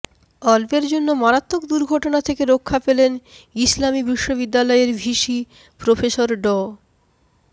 অল্পের জন্য মারাত্মক দুর্ঘটনা থেকে রক্ষা পেলেন ইসলামী বিশ্ববিদ্যালয়ের ভিসি প্রফেসর ড